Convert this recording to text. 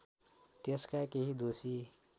त्यसका केही दोषी